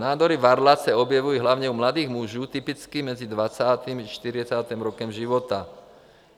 Nádory varlat se objevují hlavně u mladých mužů, typicky mezi 20. až 40. rokem života.